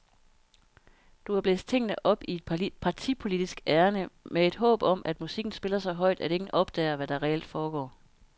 Du har blæst tingene op i et partipolitisk ærinde med et håb om, at musikken spiller så højt, at ingen opdager, hvad der reelt foregår.